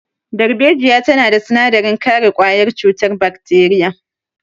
Darbejiya tana da sinadarin kare ƙwayar cutar bakteriya.